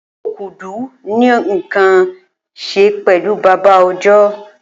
Okudu ni nkan ṣe pẹlu baba ọjọ